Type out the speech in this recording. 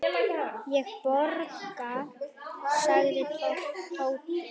Ég borga, sagði Tóti.